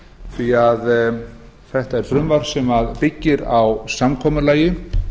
því þetta er frumvarp sem byggir á samkomulagi